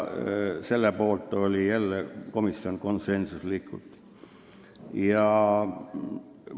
" Komisjon oli jälle konsensuslikult selle poolt.